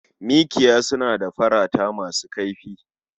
Miƙiya suna da farata masu kaifi.